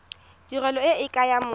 tirelo e ke ya motho